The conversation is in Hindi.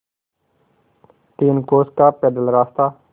तीन कोस का पैदल रास्ता